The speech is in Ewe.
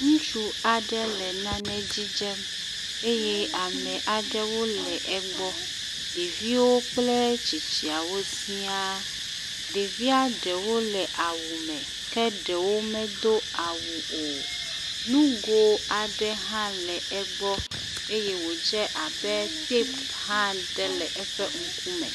Ŋutsu aɖe le nane dzidzem eye ame aɖewo le egbɔ, ɖeviwo kple tsitsiawo siaa, ɖevia ɖewo le awu me ke ɖewo medo awu o, nugo aɖe hã le egbɔ eye wodze abe tape hã aɖe le woƒe ŋku me